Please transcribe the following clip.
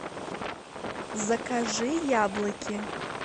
закажи яблоки